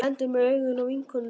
Lendir með augun á vinkonunni.